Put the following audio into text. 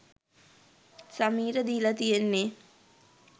සමීර දීලා තියෙන්නේ?